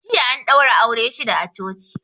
Jiya an daura aure shida a coci